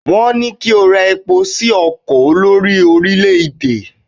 wón ní kí o rọ epo sí ọkọ olórí orilẹ ede